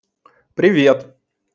привет